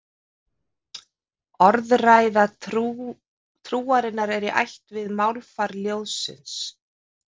Orðræða trúarinnar er í ætt við málfar ljóðsins.